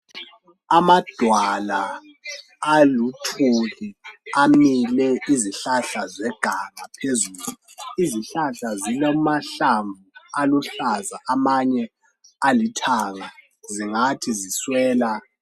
amadwala aluthuli amile izihlahla phezulu izihlahla zilamahlamvu aluhlaza amanye alithanga zingathi ziswela